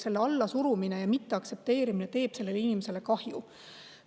Selle allasurumine ja mitteaktsepteerimine teeb sellele inimesele kahju.